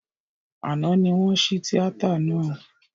Àná ní wọ́n ṣí tíátà náà